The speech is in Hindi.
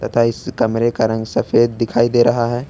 तथा इस कमरे का रंग सफेद दिखाई दे रहा है।